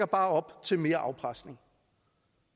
bare op til mere afpresning